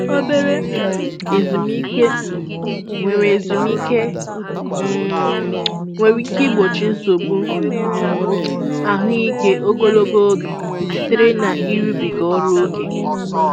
Obere um ezumike um nwere ezumike um nwere ike igbochi nsogbu um ahụike ogologo oge sitere n'ịrụbiga ọrụ ókè.